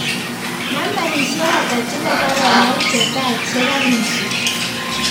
Nambaisyek ata chebo baronok che taa chegarasich